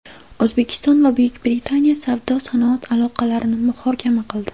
O‘zbekiston va Buyuk Britaniya savdo-sanoat aloqalarini muhokama qildi.